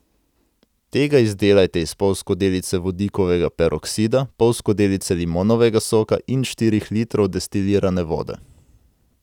Tega izdelajte iz pol skodelice vodikovega peroksida, pol skodelice limonovega soka in štirih litrov destilirane vode.